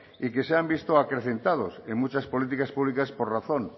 y que se han visto acrecentados en muchas políticas públicas por razón